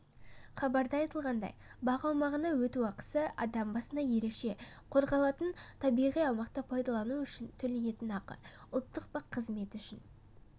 хабарда айтылғандай бақ аумағына өту ақысы адам басына ерекше қорғалатын табиғи аумақты пайдалану үшін төленетін ақы ұлттық бақ қызметі үшін